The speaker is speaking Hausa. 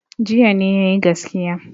Jiya ne ya yi gaskiya.